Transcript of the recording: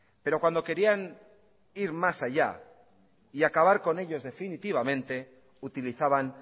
pero cuando querían ir más allá y acabar con ellos definitivamente utilizaban